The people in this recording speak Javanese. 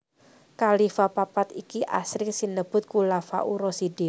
Khalifah papat iki asring sinebut Khulafaur Rasyidin